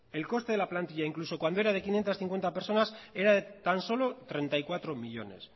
el coste de la plantilla incluso cuando era de quinientos cincuenta personas era de tan solo treinta y cuatro millónes